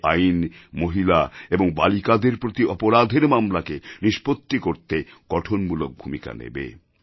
এই আইন মহিলা এবং বালিকাদের প্রতি অপরাধের মামলাকে নিষ্পত্তি করতে গঠনমূলক ভূমিকা নেবে